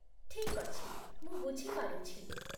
ଠିକ୍ ଅଛି, ମୁଁ ବୁଝି ପାରୁଛି।